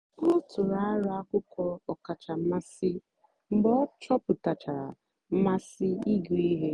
ọ tụ̀rù àrụ́ akwụ́kwọ́ ọ̀kàchà mmasị́ mgbe ọ chọ̀pụ̀tàchàra mmásị́ ịgụ́ ihe.